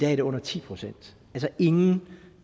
er det under ti procent ingen